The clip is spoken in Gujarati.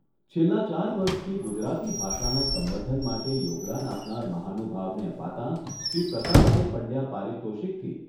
છેલ્લાં ચાર વર્ષથી ગુજરાતી ભાષાના સંવર્ધન માટે યોગદાન આપનાર મહાનુભાવને અપાતાંશ્રી પ્રતાપભાઈ પંડ્યા પારિતોષિકથી